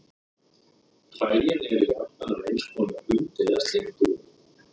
Hræin eru jafnan af einhvers konar hundi eða sléttuúlfi.